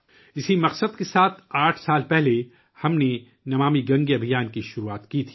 اس مقصد کے ساتھ، آٹھ سال پہلے، ہم نے 'نمامی گنگے مہم' شروع کی تھی